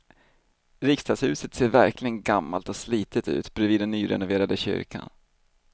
Riksdagshuset ser verkligen gammalt och slitet ut bredvid den nyrenoverade kyrkan.